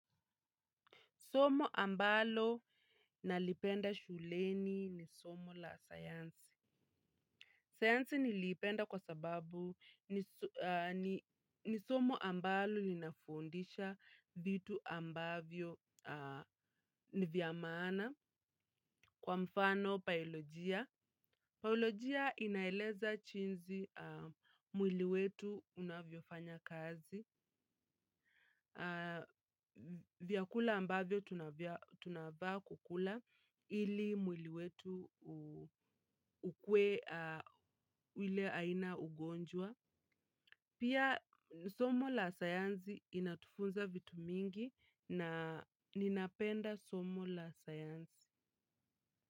Somo ambalo nalipenda shuleni ni somo la sayansi. Sayansi nilipenda kwa sababu ni somo ambalo linafundisha vitu ambavyo ni vya maana kwa mfano baolojia. Baolojia inaeleza chinzi mwili wetu unavyo fanya kazi, vyakula ambavyo tunafaa kukula ili mwili wetu ukuwe ule aina ugonjwa. Pia somo la sayanzi inatufunza vitu mingi na ninapenda somo la sayanzi.